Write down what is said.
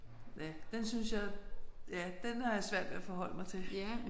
Ja den synes jeg ja den har jeg svært ved at forholde mig til